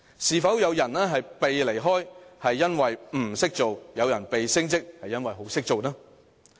是否有人"被離開"，是因為"唔識做"？有人"被升職"，是因為"好識做"呢？